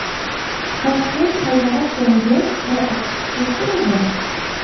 Toshkent hayvonot bog‘iga qora oqqush keltirildi.